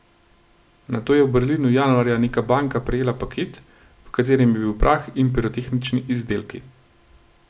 Nato je v Berlinu januarja neka banka prejela paket, v katerem je bil prah in pirotehnični izdelki.